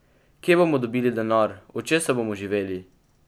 Kje bomo dobili denar, od česa bomo živeli?